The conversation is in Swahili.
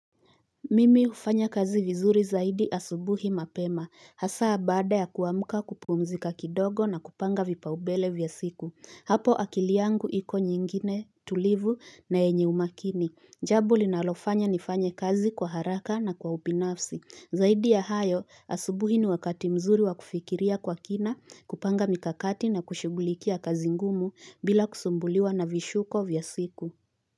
Mimi hufanya kazi vizuri zaidi asubuhi mapema hasa baada ya kuamuka kupuumzika kidogo na kupanga vipa umbele vya siku hapo akili yangu iko nyingine tulivu na yenye umakini jambo linalofanya nifanye kazi kwa haraka na kwa upinafsi zaidi ya hayo asubuhi ni wakati mzuri wa kufikiria kwa kina kupanga mikakati na kushugulikia kazi ngumu bila kusumbuliwa na vishuko vya siku.